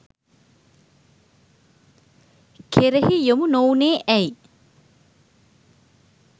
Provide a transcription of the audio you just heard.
කෙරෙහි යොමු නොවුණේ ඇයි?